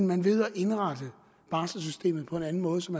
man ved at indrette barselsystemet på en anden måde som